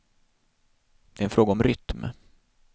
Det är en fråga om rytm.